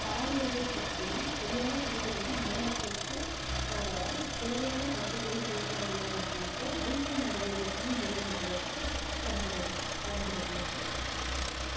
பாலுறவை பற்றி சரியான புரிதல் வந்து மாணவர்களுக்கு ஆஹ் வர தேவையான கருத்துக்களை சேர்க்க வேணும் அப்படின்ட்டு ஐக்கிய நாடுகளோட துணை நிறுவனங்களும் வந்து பரிந்துரை~ பரிந்துரைக்குது